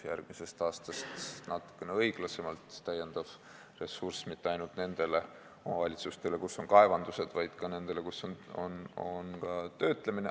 Järgmisest aastast toimub see natukene õiglasemalt, lisaressurss ei lähe mitte ainult nendele omavalitsustele, kus on kaevandused, vaid ka nendele, kus toimub töötlemine.